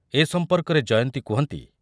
ଏ ସମ୍ପର୍କରେ ଜୟନ୍ତୀ କୁହନ୍ତି